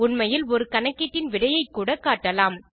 உண்மையில் ஒரு கணக்கீட்டின் விடையைக்கூட காட்டலாம்